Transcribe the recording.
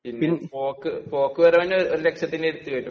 പിന്നെ പോക്കുവരവിന് ഒരുലക്ഷത്തിന് അടുത്ത് വരും.